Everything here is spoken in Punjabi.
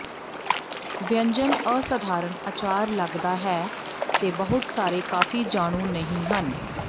ਵਿਅੰਜਨ ਅਸਾਧਾਰਨ ਅਚਾਰ ਲੱਗਦਾ ਹੈ ਤੇ ਬਹੁਤ ਸਾਰੇ ਕਾਫ਼ੀ ਜਾਣੂ ਨਹੀ ਹਨ